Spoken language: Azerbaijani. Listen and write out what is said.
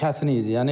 Çətin idi.